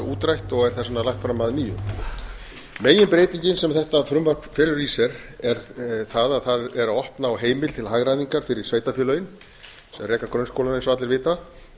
útrætt og er þess vegna lagt fram að nýju meginbreytingin sem þetta frumvarp felur í sér er það að það er að opna á heimild til hagræðingar fyrir sveitarfélögin sem reka grunnskólana eins og allir vita